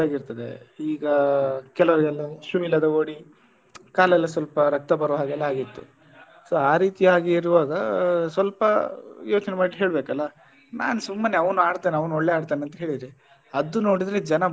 ಆಗಿರ್ತದೆ ಈಗ ಕೆಲವರಿಗೆಲ್ಲ shoe ಇಲ್ಲದೆ ಓಡಿ ಕಾಲೆಲ್ಲ ಸ್ವಲ್ಪ ರಕ್ತ ಬರುವ ಹಾಗೆ ಎಲ್ಲ ಆಗಿತ್ತು so ಆ ರೀತಿಯಾಗಿ ಇರುವಾಗ ಸ್ವಲ್ಪ ಯೋಚನೆ ಮಾಡಿ ಹೇಳ್ಬೇಕಲ್ಲ ನಾನ್ ಸುಮ್ನೆ ಅವ್ನು ಆಡ್ತಾನೆ ಅವ್ನು ಒಳ್ಳೆ ಆಡ್ತಾನೆ ಅಂತ ಹೇಳಿದ್ದೆ ಅದು ನೋಡಿದ್ರೆ ಜನ.